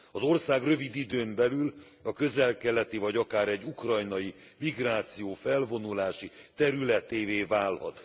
Az ország rövid időn belül a közel keleti vagy akár egy ukrajnai migráció felvonulási területévé válhat.